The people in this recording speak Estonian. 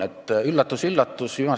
Üllatus-üllatus!